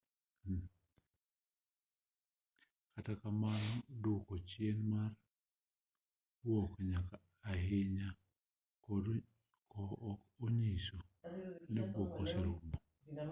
kata kamano duoko chien mar buok nyaka ahinya ok onyiso ni buok te oserumo